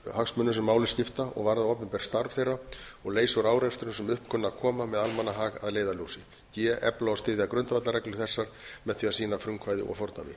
hagsmunum sem máli skipta og varða opinbert starf þeirra og leysa úr árekstrum sem upp kunna að koma með almannahag að leiðarljósi g efla og styðja grundvallarreglur þessar með því að sýna frumkvæði og fordæmi